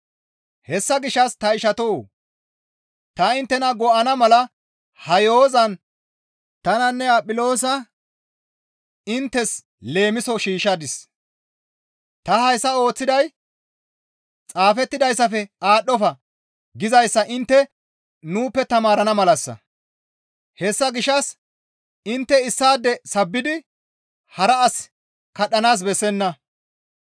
Hessa gishshas ta ishatoo! Ta inttena go7ana mala ha yo7ozan tananne Aphiloosa inttes leemiso shiishshadis; ta hayssa ooththiday, «Xaafettidayssafe aadhdhofa» gizayssa intte nuuppe taamarana malassa. Hessa gishshas intte issaade sabbidi hara as kadhanaas bessenna.